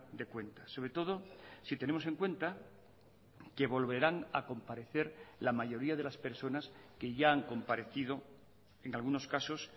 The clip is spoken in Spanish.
de cuentas sobre todo si tenemos en cuenta que volverán a comparecer la mayoría de las personas que ya han comparecido en algunos casos